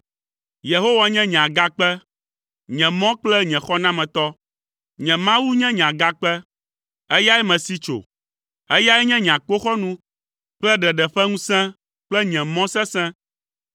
Yehowa nye nye agakpe, nye mɔ kple nye xɔnametɔ. Nye Mawu nye nye agakpe, eyae mesi tso. Eyae nye nye akpoxɔnu kple ɖeɖe ƒe ŋusẽ kple nye mɔ sesẽ.